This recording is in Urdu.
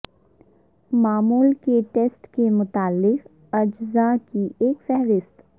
معمول کے ٹیسٹ کے مختلف اجزاء کی ایک فہرست